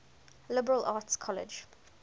liberal arts college